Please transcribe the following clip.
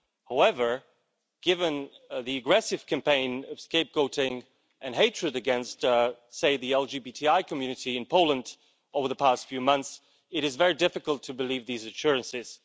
However, given the aggressive campaign of scapegoating and hatred against, say, the LGBTI community in Poland over the past few months, it is very difficult to believe these assurances.